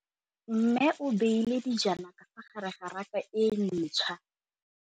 Mmê o beile dijana ka fa gare ga raka e ntšha.